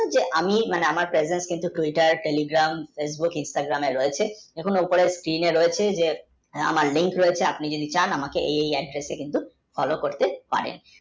যে আমি মানে আমার pejanth কিন্তু tuitar tligaram fecbook stargaram এ রয়েছে এখনো উপরে রয়েছে যে আমার link রয়েছে আপনি যদি চান এই এই adders কিন্তু follo করতে পারেন